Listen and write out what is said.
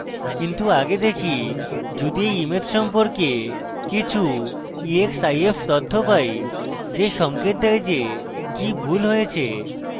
কিন্তু আগে দেখি যদি এই image সম্পর্কে কিছু exif তথ্য পাই যে সঙ্কেত দেয় যে কি ভুল হয়েছে